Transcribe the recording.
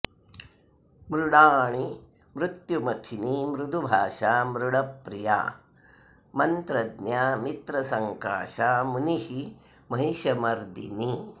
मृडाणी मृत्युमथिनी मृदुभाषा मृडप्रिया मन्त्रज्ञा मित्रसङ्काशा मुनिः महिषमर्दिनी